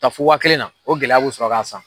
Ta fɔ waa kelen na, o gɛlɛya bu sɔrɔ ka san.